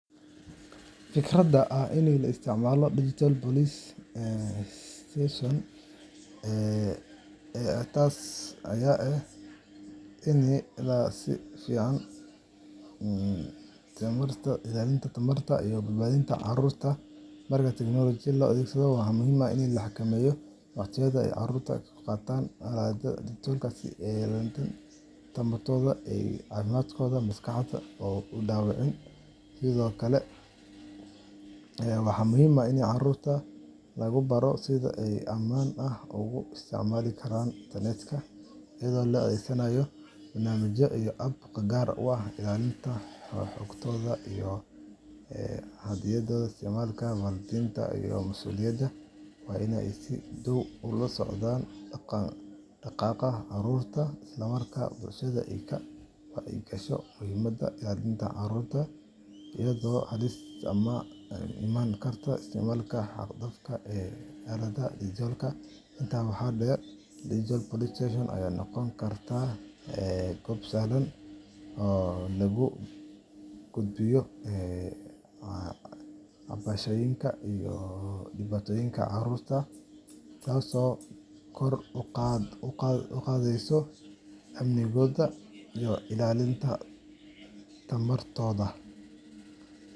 Fikradda ah in la isticmaalo Digital Police Station waxay noqon kartaa tallaabo muhiim ah oo lagu ilaalinayo tamarta iyo badbaadada carruurta. Marka tiknoolajiyadan la adeegsado, waxaa muhiim ah in la xakameeyo waqtiga ay carruurtu ku qaataan aaladaha digitalka si aanay tamartooda iyo caafimaadkooda maskaxeed u dhaawacmin. Sidoo kale, waxaa muhiim ah in carruurta lagu baro sida ay si ammaan ah ugu isticmaali karaan internetka, iyadoo la adeegsanayo barnaamijyo iyo apps gaar ah oo ilaalinaya xogtooda iyo xaddidaya isticmaalka. Waalidiinta iyo masuuliyiinta waa in ay si dhow ula socdaan dhaqdhaqaaqa carruurtooda, isla markaana bulshadu ay ka wacyi gasho muhiimadda ilaalinta carruurta iyo ka hortagga halista ka iman karta isticmaalka xad-dhaafka ah ee aaladaha digitalka. Intaa waxaa dheer, Digital Police Station ayaa noqon karta goob sahlan oo loogu gudbiyo cabashooyinka iyo dhibaatooyinka carruurta, taasoo kor u qaadaysa amnigooda iyo ilaalinta tamartooda.